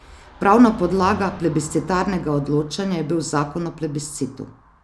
Pravna podlaga plebiscitarnega odločanja je bil zakon o plebiscitu.